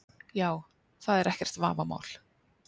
Já, það er ekkert vafamál.